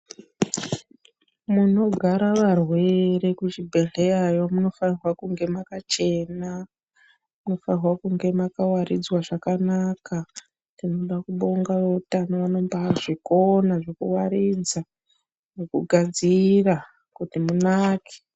Munogara varwere kuchibhedherayo munofanirwe kunge makachena. Munofane kunge makawaridzwa zvakanaka. Tinoda kubonga veutano vanombazvikona zvekuwaridza nekugadzira kuti munake.